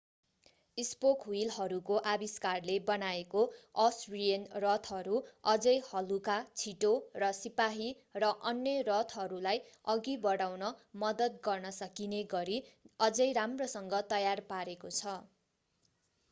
spoke व्हीलहरूको आविष्कारले बनाएको असरियन रथहरू झनै हलुका छिटो र सिपाही र अन्य रथहरूलाई अघि बढाउन मद्दत गर्न सकिने गरी अझै राम्रोसँग तयार पारेको छ